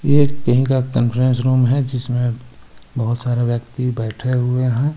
येह कहीं का कंन्फ्रेंस रूम है जिसमें बोहोत सारे व्यक्ति बैठे हुए हैं.